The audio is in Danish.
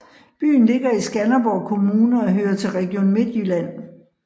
Byen ligger i Skanderborg Kommune og hører til Region Midtjylland